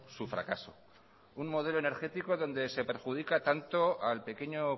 su fracaso un modelo energético donde se perjudica tanto al pequeño